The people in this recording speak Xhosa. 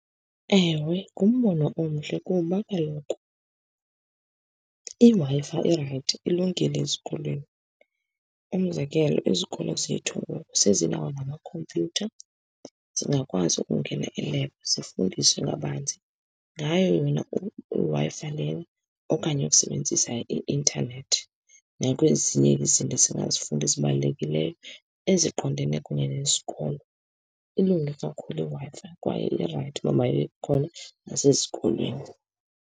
Ewe, ngumbono omhle kuba kaloku iWi-Fi irayithi ilungile ezikolweni. Umzekelo, izikolo zethu ngoku sezinawo namakhompyutha, zingakwazi ukungena elebhu, zifundiswe ngabanzi ngayo yona iWi-Fi lena, okanye ukusebenzisa i-intanethi nakwezinye izinto esingazifunda ezibalulekileyo eziqondene kunye nesikolo. Ilunge kakhulu iWi-Fi kwaye irayithi ukuba mayibe khona nasezikolweni.